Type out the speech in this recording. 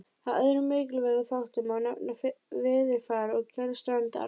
Af öðrum mikilvægum þáttum má nefna veðurfar og gerð strandar.